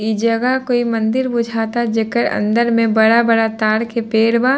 इ जगह कोई मंदिर बुझाता जेकर अंदर में बड़ा-बड़ा ताड़ के पेड़ बा।